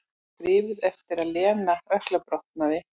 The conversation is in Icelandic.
Skrifuð eftir að Lena ökklabrotnaði.